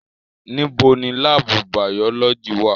Nibo ni laabu bayọlọji wa?